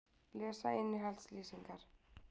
Lesa innihaldslýsingar.